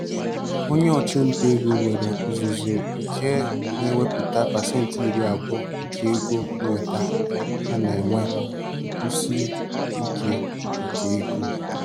Onye ọchụnta ego nwere ọzụzụ nke na-ewepụta pasentị iri abụọ nke ego nnweta ha na-enwe nkwụsi ike nke ego.